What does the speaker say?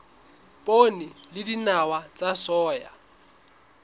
poone le dinawa tsa soya